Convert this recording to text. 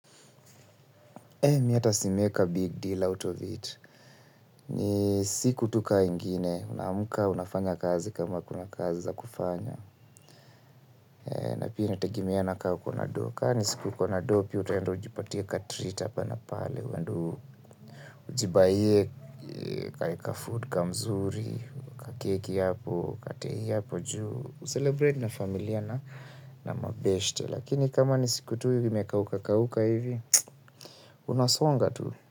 Mi ata si make a big deal out of it. Ni siku tu ka ingine, unaamka unafanya kazi kama kuna kazi za kufanya. Na pia inategemeana ka uko na doo. Ka ni siku uko na doo, pia utaenda ujipatie ka treat hapa na pale. Uende ujibuyie ka food kamzuri, kakeki hapo, katei hapo juu. Ucelebrate na familia na mabeshte. Lakini kama ni siku tu imekauka kauka hivi, unasonga tu.